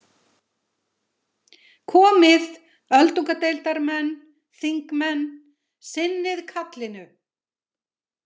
Komið, öldungadeildarmenn, þingmenn, sinnið kallinu.